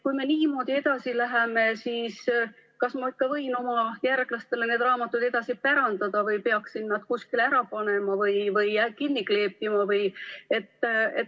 Kui me niimoodi edasi läheme, siis kas ma ikka võin oma järglastele need raamatud edasi pärandada või peaksin nad kuskile ära panema või kinni kleepima?